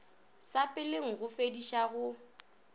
sa peleng go fediša go